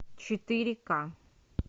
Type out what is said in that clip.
четыре ка